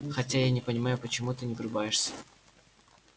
хотя я не понимаю почему ты не врубаешься